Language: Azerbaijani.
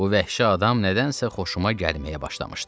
Bu vəhşi adam nədənsə xoşuma gəlməyə başlamışdı.